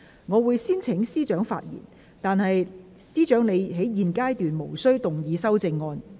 我會先請司長發言，但她在現階段無須動議修正案。